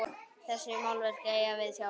Þessi málverk eigast við sjálf.